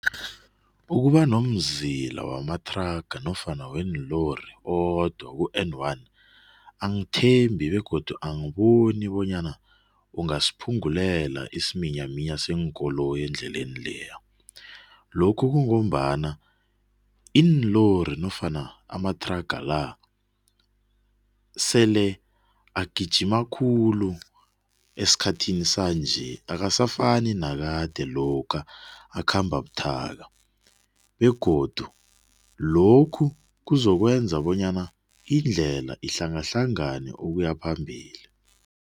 Ukuba nomzila wamathraga nofana weenlori owodwa ku-N one, angithembi begodu angiboni bonyana kungasiphungulela isiminyaminya seenkoloyi endleleni leya. Lokhu kungombana iinlori nofana amathraga-la, sele agijima khulu esikhathini sanje akasafani nesikhathi sakade lokha akhamba buthaka begodu lokhu kuzokwenza bonyana indlela ihlangahlangane ukuyaphambili.